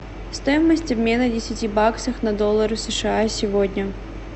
стоимость обмена десяти баксов на доллары сша сегодня